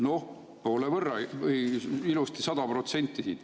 Noh, poole võrra, ilusti 100%.